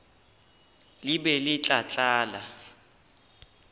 le be le tla tlala